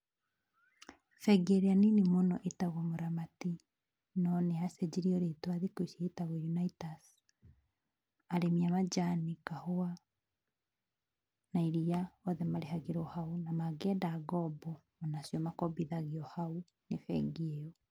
Bengi ĩrĩa nini mũno ĩtagwo Mũramati, no nĩ yacenjirio rĩtwa thikũ ici ĩtagwo Unaitas, arĩmi a manjani, kahũa, na iria, othe marĩhagĩrwo hau na mangĩenda ngombo, o nacio makombithagio hau nĩ bengi ĩyo.